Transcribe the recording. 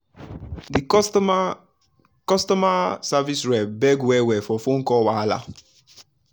the customer customer service rep beg well-well for phone call wahala.